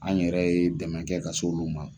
An yɛrɛ ye dɛmɛ kɛ ka s'olu ma.